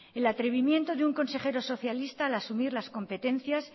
el atrevimiento de un consejero socialista al asumir las competencias